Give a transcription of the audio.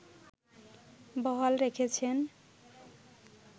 বহাল রেখেছেন